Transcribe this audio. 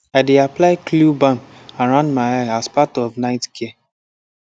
i dey apply cule balm around my eye as part of night care